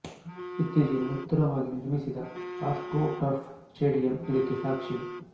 ಇತ್ತೀಚಿಗೆ ನೂತನವಾಗಿ ನಿರ್ಮಿಸಿದ ಆಸ್ಟ್ರೊ ಟರ್ಫ್ ಸ್ಟೇಡಿಯಮ್ ಇದಕ್ಕೆ ಸಾಕ್ಷಿ